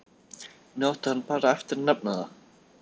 Nú átti hann bara eftir að nefna það.